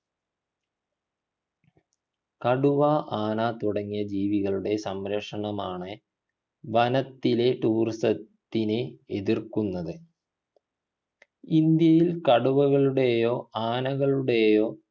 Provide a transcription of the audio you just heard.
കടുവ ആന തുടങ്ങിയ ജീവികളുടെ സംരക്ഷണമാണ് വനത്തിലെ tourism ത്തിനെ എതിർക്കുന്നത് ഇന്ത്യയിൽ കടുവകളുടെയോ ആനകളുടെയോ